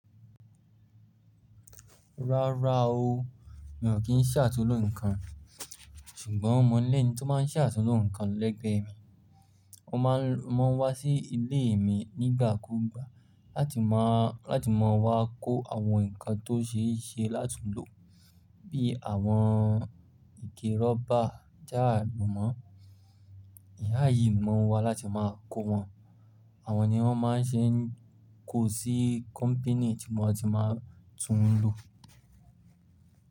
Rárá o, mi ò kí ń ṣàtúnlo nǹkan, ṣùgbọ́n mọ̀ lẹ́ni tó máa ń ṣàtúnlo nǹkan lẹ́gbẹ́ mi. Wọ́n máa ń wá sí ilé mi nígbà kúùgbà láti máa wá kó àwọn nǹkan tó ṣe é ṣe láti lò bí àwọn ike rọ́bà, táà lo mọ́. Ìyá yìí máa n wá láti máa kó wọn. Àwọn ni wọ́n máa ń ṣe ń kó sí company tí wọn ti máa tún lò.